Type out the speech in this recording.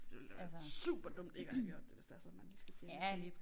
Det ville da være superdumt ikke at have gjort det hvis det er sådan man lige skal til